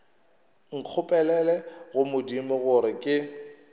nkgopelele go modimo gore ke